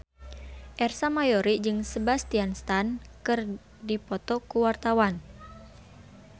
Ersa Mayori jeung Sebastian Stan keur dipoto ku wartawan